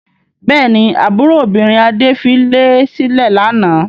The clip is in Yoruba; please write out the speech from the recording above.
Bẹ́ẹ̀ ni, àbúrò obìnrin Adé filé sílẹ̀ lánàá.